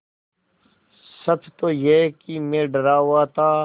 सच तो यह है कि मैं डरा हुआ था